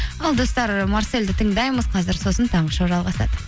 ал достар марсельді тыңдаймыз қазір сосын таңғы шоу жалғасады